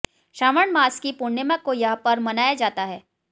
श्रावण मास की पूर्णिमा को यह पर्व मनाया जाता है